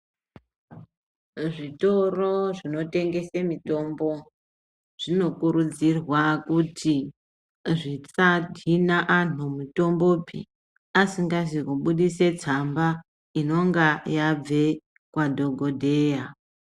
Zvitoro zvinotengese mitombo, zvinokurudzirwa kuti zvisahina anthu mutombopi asikazi kubudisa tsamba inonga yabve kwadhokodheya.